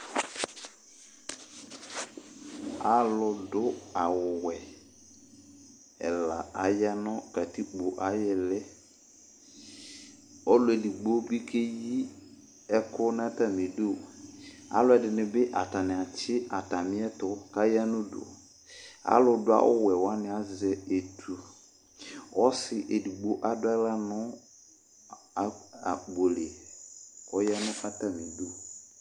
alʋdu awuwɛ ɛla aya nʋ katikpo ayʋ ili Ɔlʋ edigbo bɩ keyi ɛkʋ nʋ atami idu Alʋ ɛdɩnɩ bɩ atani atsi atani ɛtʋ, kʋ aya nʋ udu Alʋdu awuwɛ wani azɛ etu Ɔsi edigbo adu aɣla nʋ akpo li, kʋ ɔya nʋ ɛfʋ yɛ atani du